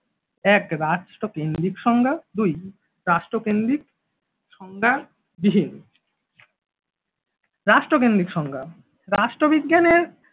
এক রাষ্ট্রকেন্দ্রিক সংজ্ঞা দুই রাষ্ট্রকেন্দ্রিক সংজ্ঞা রাষ্ট্রকেন্দ্রিক সংজ্ঞা রাষ্ট্রবিজ্ঞানের